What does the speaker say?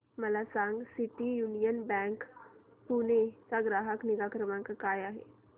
मला सांगा city union bank Pune चा ग्राहक निगा क्रमांक काय आहे